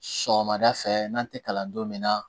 Sɔgɔmada fɛ n'an tɛ kalan don min na